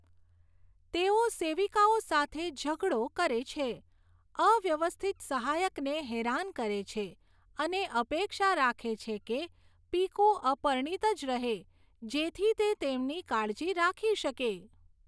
તેઓ સેવિકાઓ સાથે ઝઘડો કરે છે, અવ્યવસ્થિત સહાયકને હેરાન કરે છે અને અપેક્ષા રાખે છે કે પીકૂ અપરિણીત જ રહે જેથી તે તેમની કાળજી રાખી શકે.